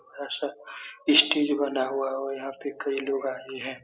ऐसा स्टेज़ बना हुआ है और यहाँ पे कई लोग आए हैं।